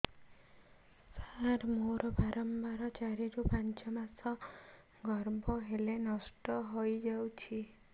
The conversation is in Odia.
ସାର ମୋର ବାରମ୍ବାର ଚାରି ରୁ ପାଞ୍ଚ ମାସ ଗର୍ଭ ହେଲେ ନଷ୍ଟ ହଇଯାଉଛି